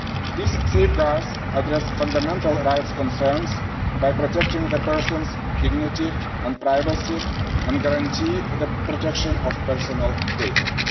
These safeguards address fundamental rights concerns by protecting the person's dignity and privacy, and guarantee the protection of personal data.